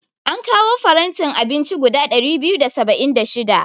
An kawo farantin abinci guda ɗari biyu da saba'in da shida.